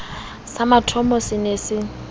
sa mothomo se ne se